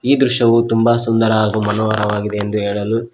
ಈ ದೃಶ್ಯವು ತುಂಬ ಸುಂದರ ಹಾಗು ಮನೋಹರವಾಗಿದೆ ಎಂದು ಹೇಳಲು--